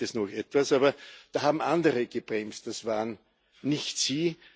Da braucht es noch etwas, aber da haben andere gebremst, das waren nicht Sie.